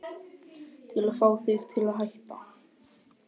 Til að fá þig til að hætta.